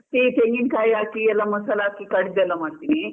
ಒಂದೊಂದು ಸರ್ತಿ ತೆಂಗಿನಕಾಯಿ ಹಾಕಿ ಎಲ್ಲ ಮಸಾಲ ಹಾಕಿ ಕಡ್ದು ಎಲ್ಲ ಮಾಡ್ತಿನಿ.